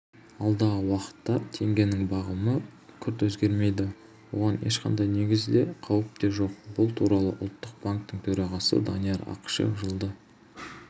алдағы уақытта теңгенің бағамы күрт өзгермейді оған ешқандай негіз де қауіп те жоқ бұл туралы ұлттық банктің төрағасы данияр ақышев жылды